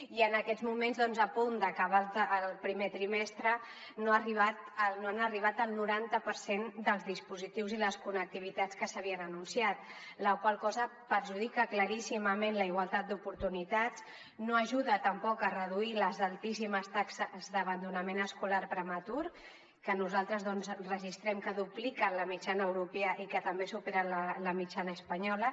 i en aquests moments doncs a punt d’acabar el primer trimestre no han arribat el noranta per cent dels dispositius i les connectivitats que s’havien anunciat la qual cosa perjudica claríssimament la igualtat d’oportunitats i no ajuda tampoc a reduir les altíssimes taxes d’abandonament escolar prematur que nosaltres registrem que dupliquen la mitjana europea i que també superen la mitjana espanyola